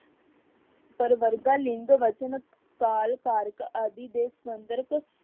ਪਰਵਰਗਾ ਲਿੰਗ ਬਚਨ, ਕਾਲ, ਕਾਰਕ ਆਦਿ ਦੇ ਸਰਬੰਧਕ